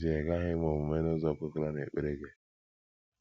ghaghị ime omume n’ụzọ kwekọrọ n’ekpere gị.